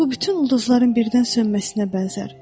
bu bütün ulduzların birdən sönməsinə bənzər.